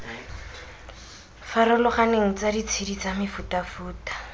farologaneng tsa ditshedi tsa mefutafuta